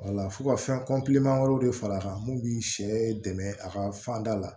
wala f'u ka fɛn wɛrɛw de far'a kan mun bi sɛ dɛmɛ a ka fanda la